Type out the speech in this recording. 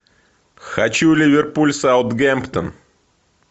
хочу ливерпуль саутгемптон